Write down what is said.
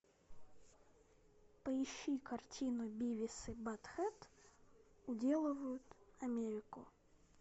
поищи картину бивис и баттхед уделывают америку